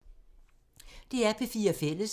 DR P4 Fælles